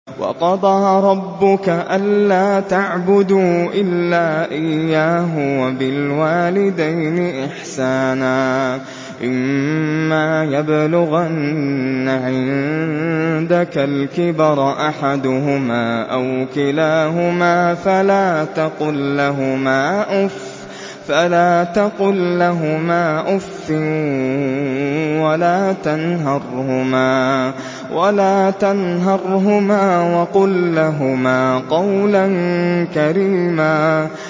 ۞ وَقَضَىٰ رَبُّكَ أَلَّا تَعْبُدُوا إِلَّا إِيَّاهُ وَبِالْوَالِدَيْنِ إِحْسَانًا ۚ إِمَّا يَبْلُغَنَّ عِندَكَ الْكِبَرَ أَحَدُهُمَا أَوْ كِلَاهُمَا فَلَا تَقُل لَّهُمَا أُفٍّ وَلَا تَنْهَرْهُمَا وَقُل لَّهُمَا قَوْلًا كَرِيمًا